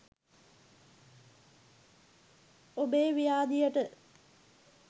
ඔබේ ව්‍යාධියට